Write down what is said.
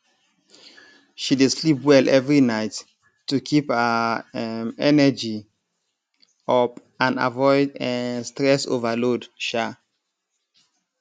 she dey sleep well every night to keep her um energy up and avoid um stress overload um